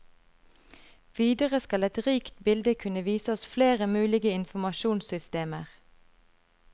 Videre skal et rikt bilde kunne vise oss flere mulige informasjonssystemer.